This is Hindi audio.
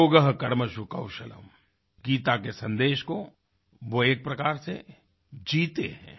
योगः कर्मसु कौशलम् गीता के सन्देश को वो एक प्रकार से जीते हैं